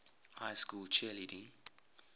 high school cheerleading